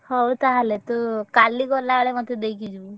ହଉ ତାହେଲେ ତୁ କାଲି ଗଲା ବେଳେ ମତେ ଦେଇକି ଯିବୁ।